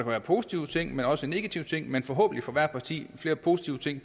være positive ting men også negative ting men forhåbentlig for hvert parti flere positive ting